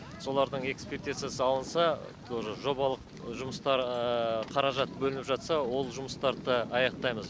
солардың экспертизасы алынса тоже жобалық жұмыстар қаражат бөлініп жатса ол жұмыстарды да аяқтаймыз